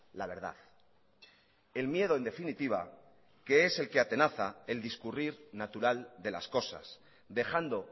la verdad el miedo en definitiva que es el que atenaza el discurrir natural de las cosas dejando